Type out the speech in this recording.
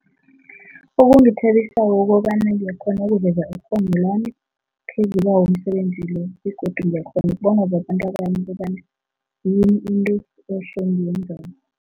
Okungithabisako kukobana ngiyakghona ukuveza ikghono lami phezu kwawo umsebenzi lo begodu ngiyakghona ukubonwa babantu abanye ukobana yini into ehle engiyenzako.